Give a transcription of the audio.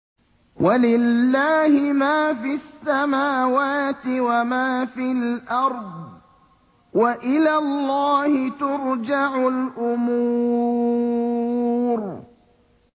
وَلِلَّهِ مَا فِي السَّمَاوَاتِ وَمَا فِي الْأَرْضِ ۚ وَإِلَى اللَّهِ تُرْجَعُ الْأُمُورُ